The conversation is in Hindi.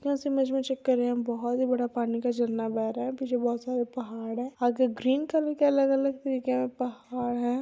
इस इमेज मे चेक कर रहे है बहुत ही बड़ा पानी का झरना बह रहा है पीछे बहुत सारे पहाड़ है आगे ग्रीन कलर के अलग-अलग तरीके के पहाड़ है।